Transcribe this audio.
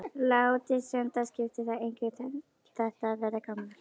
Láti sem það skipti þær engu þetta að verða gamlar.